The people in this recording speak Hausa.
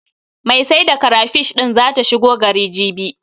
Mai sai da karafish din zata shigo gari, jibi.